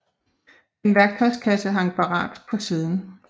En værktøjskasse hang parat på siden